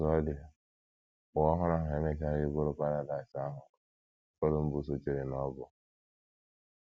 Otú ọ dị, Ụwa Ọhụrụ ahụ emechaghị bụrụ paradaịs ahụ Columbus chere na ọ bụ.